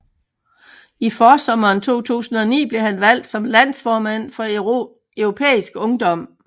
I forsommeren 2009 blev han valgt som landsformand for Europæisk Ungdom